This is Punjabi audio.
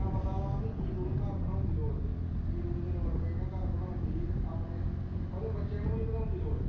ਉਹ ਹੁਣ ਪਤਾ ਵਾ ਕੇ ਈਲੂ ਨੂੰ ਘਰ ਬਣਾਉਣ ਦੀ ਲੋੜ ਨਹੀਂ ਈਲੂ ਨੂੰ ਜੇ ਲੋੜ ਪਈ ਨਾ ਘਰ ਬਣਾਉਣ ਦੀ ਤਾਂ ਆਪਣੇ ਓਹਦੇ ਬੱਚਿਆਂ ਨੂੰ ਵੀ ਨੀ ਲੋੜ